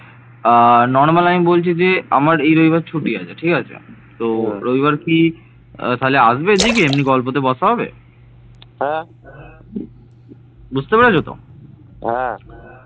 এরপর মানুষের পদচারণায় জঙ্গলের ক্ষতি সাধিত হয়